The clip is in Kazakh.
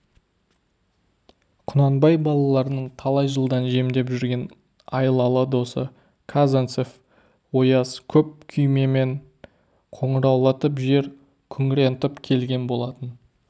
құнанбай балаларының талай жылдан жемдеп жүрген айлалы досы казанцев ояз көп күймемен қоңыраулатып жер күңірентіп келген болатын